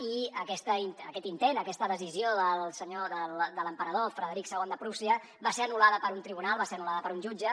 i aquest intent aquesta decisió del senyor de l’emperador frederic ii de prússia va ser anullada per un tribunal va ser anul·lada per un jutge